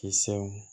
Kisɛw